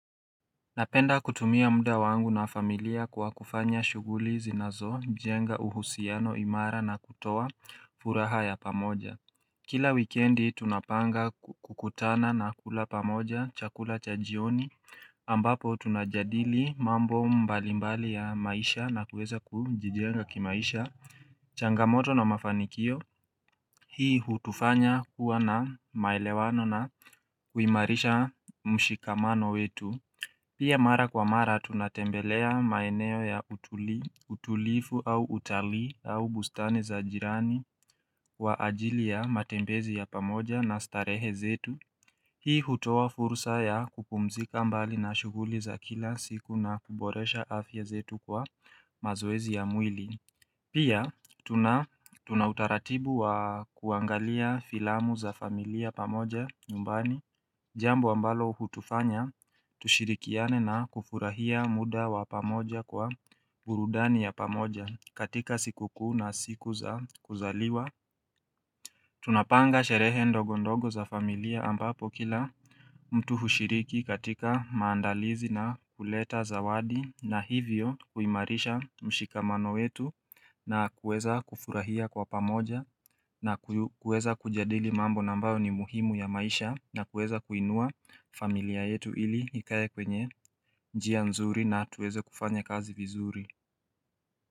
Napenda kutumia muda wangu na familia kwa kufanya shughuli zinazo jenga uhusiano imara na kutoa furaha ya pamoja Kila wikendi tunapanga kukutana na kula pamoja chakula cha jioni ambapo tunajadili mambo mbalimbali ya maisha na kuweza kujijenga kimaisha changamoto na mafanikio. Hii hutufanya kuwa na maelewano na kuimarisha mshikamano wetu Pia mara kwa mara tunatembelea maeneo ya utulivu au utalii, au bustani za jirani kwa ajili ya matembezi ya pamoja na starehe zetu. Hii hutoa fursa ya kupumzika mbali na shuguli za kila siku na kuboresha afya zetu kwa mazoezi ya mwili. Pia, tunautaratibu wa kuangalia filamu za familia pamoja nyumbani, jambu ambalo utufanya, tushirikiane na kufurahia muda wa pamoja kwa burudani ya pamoja katika sikukuu na siku za kuzaliwa. Tunapanga sherehe ndogondogo za familia ambapo kila mtu hushiriki katika maandalizi na kuleta zawadi na hivyo kuimarisha mshikamano wetu na kuweza kufurahia kwa pamoja na kuweza kujadili mambo na ambayo ni muhimu ya maisha na kuweza kuinua familia yetu ili ikae kwenye njia nzuri na tuweze kufanya kazi vizuri.